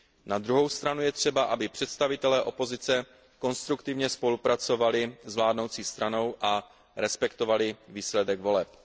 Na druhou stranu je třeba, aby představitelé opozice konstruktivně spolupracovali s vládnoucí stranou a respektovali výsledek voleb.